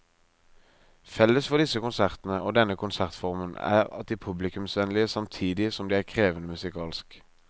Felles for disse konsertene og denne konsertformen er at de er publikumsvennlige samtidig som de er krevende musikalsk.